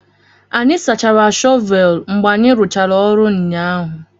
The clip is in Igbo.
Anyị sachara shọvel mgbe anyị rụchara ọrụ ụnyaahụ